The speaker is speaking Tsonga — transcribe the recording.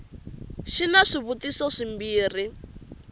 c xi na swivutiso swimbirhi